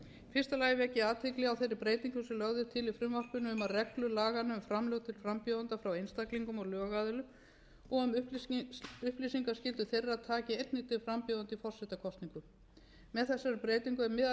fyrsta lagi vek ég athygli á þeirri breytingu sem lögð er til í frumvarpinu um að reglur laganna um framlög til frambjóðenda frá einstaklingum og lögaðilum og um upplýsingaskyldu þeirra taki einnig til frambjóðenda í forsetakosningum með þessari breytingu